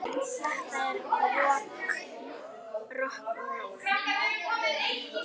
Þetta er rokk og ról.